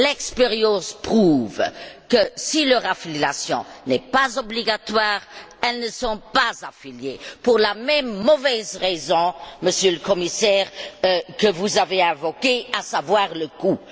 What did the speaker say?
L'expérience prouve que, si leur affiliation n'est pas obligatoire, ils ne sont pas affiliés, et cela, pour la même mauvaise raison, Monsieur le Commissaire, que vous avez invoquée, à savoir le coût.